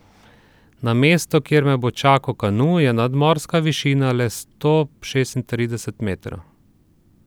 Na mestu, kjer me bo čakal kanu, je nadmorska višina le sto šestintrideset metrov.